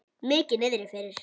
Mikið niðri fyrir.